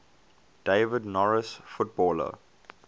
david norris footballer